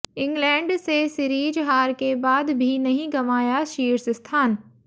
England से series हार के बाद भी नहीं गंवाया शीर्ष स्थान